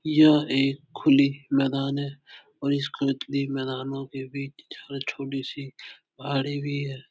यह एक खुली मैदान है और इस खुल्कती मैदानों के बीच एक छोटी सी पहाड़ी भी है।